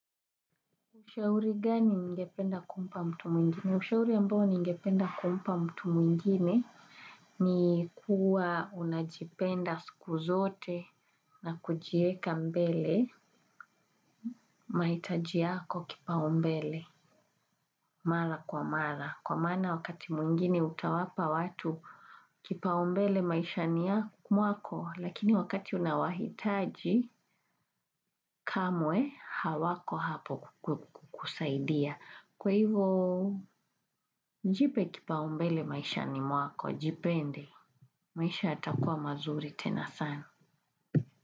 Ushauri gani ungependa kumpa mtu mwingine? Ushauri ambao ningependa kumpa mtu mwingine ni kuwa unajipenda siku zote na kujiweka mbele mahitaji yako kipaumbele. Mara kwa mara. Kwa maana wakati mwingine utawapa watu kipaumbele maishani mwako lakini wakati unawahitaji kamwe hawako hapo kusaidia. Kwa hivo, jipe kipaumbele maishani mwako. Jipende. Maisha yatakuwa mazuri tena sana.